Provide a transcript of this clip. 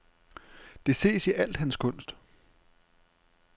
Det ses i al hans kunst.